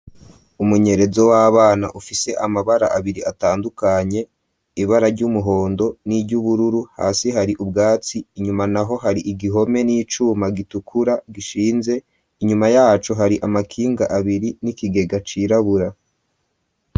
Umunyerezo w'abana ufise amabara abiri atandukanye, ibara ry'umuhondo, n'iry'ubururu, hasi hari ubwatsi, inyuma naho hari igihome n'icuma gitukura gishinze, inyuma yaco hari amakinga abiri n'ikigega cirabura.